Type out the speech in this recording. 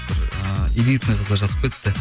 бір ы элитный қыздар жазып кетті